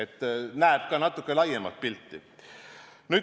Tema näeb ka natuke laiemat pilti.